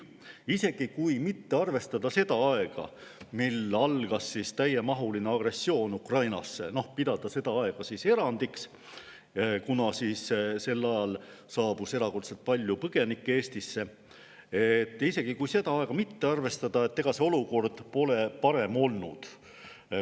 Isegi kui mitte arvestada seda aega, mil algas täiemahuline agressioon Ukrainas, pidada seda aega erandiks, kuna sel ajal saabus erakordselt palju põgenikke Eestisse, pole see olukord parem olnud.